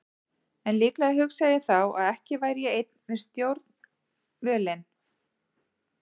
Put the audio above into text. En líklega hugsaði ég þá að ekki væri ég einn við stjórnvölinn.